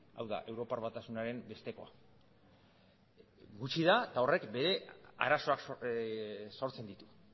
hau da europar batasunaren bestekoa gutxi da eta horrek ere arazoak sortzen ditu